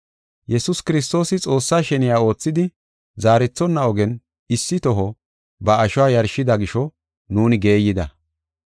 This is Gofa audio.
Yesuus Kiristoosi Xoossaa sheniya oothidi, zaarethonna ogen issi toho ba ashuwa yarshida gisho nuuni geeyida.